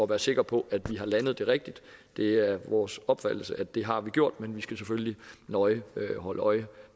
er sikre på at vi har landet det rigtigt det er vores opfattelse at det har vi gjort men vi skal selvfølgelig nøje holde øje